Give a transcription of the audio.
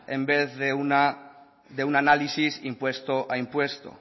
en vez de un análisis impuesto a impuesto